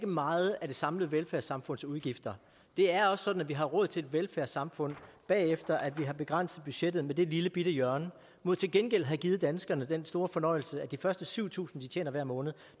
meget af det samlede velfærdssamfunds udgifter det er også sådan at vi har råd til et velfærdssamfund efter at vi har begrænset budgettet med det lillebitte hjørne mod til gengæld at have givet danskerne den store fornøjelse at de første syv tusind kr de tjener hver måned